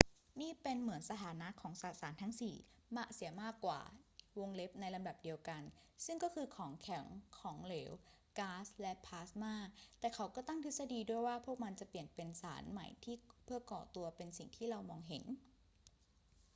นี่เป็นเหมือนสถานะของสสารทั้งสี่เสียมากกว่า ในลำดับเดียวกัน ซึ่งก็คือของแข็ง ของเหลว ก๊าซ และพลาสม่า แต่เขาก็ตั้งทฤษฎีด้วยว่าพวกมันจะเปลี่ยนเป็นสารใหม่เพื่อก่อตัวเป็นสิ่งที่เรามองเห็น